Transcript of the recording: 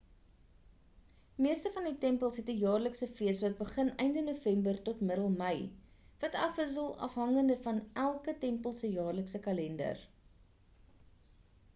meeste van die tempels het 'n jaarlikse fees wat begin einde november tot die middel mei wat afwissel afhangende van elke tempel se jaarlikse kalender